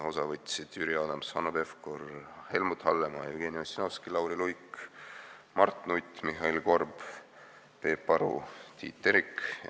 Osa võtsid Jüri Adams, Hanno Pevkur, Helmut Hallemaa, Jevgeni Ossinovski, Lauri Luik, Mart Nutt, Mihhail Korb, Peep Aru ja Tiit Terik.